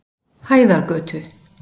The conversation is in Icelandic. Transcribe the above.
Hæðargötu